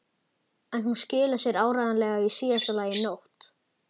En hún skilar sér áreiðanlega í síðasta lagi í nótt.